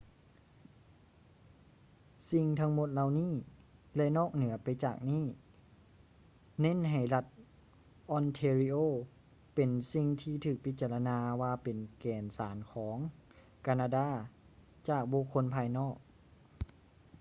ສິ່ງທັງໝົດເຫຼົ່ານີ້ ແລະ ນອກເໜືອໄປຈາກນີ້ ເນັ້ນໃຫ້ລັດ ອອນແທຣີໂອ ontario ເປັນສິ່ງທີ່ຖືກພິຈາລະນາວ່າເປັນແກ່ນສານຂອງ ການາດາ ຈາກບຸກຄົນພາຍນອກ